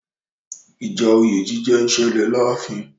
Ìjà òye jíjẹ ń ṣẹlẹ̀ láàfin.